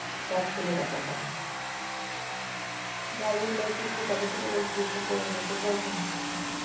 কাজ ফেলে রাখা স্বভাব। driving licence টা কবে থেকে বলছি একটু করে নিস এটাও শুনছিস না।